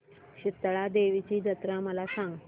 शितळा देवीची जत्रा मला सांग